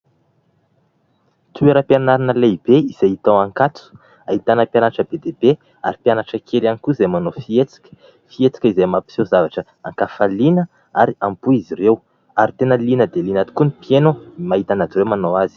Toeram-pianarana lehibe izay hita ao ankatso, ahitana mpianatra bediabe ary mpianatra kely ihany koa izay manao fihetsika; fihetsika izay mampiseho zavatra an-kafaliana ary am-po izy ireo ary tena liana dia liana tokoa ny mpieno mahita an'azy ireo manao azy.